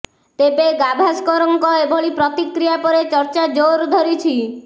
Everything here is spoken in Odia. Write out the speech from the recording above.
ତେବେ ଗାଭାସ୍କରଙ୍କର ଏଭଳି ପ୍ରତିକ୍ରିୟା ପରେ ଚର୍ଚ୍ଚା ଜୋର ଧରିଛି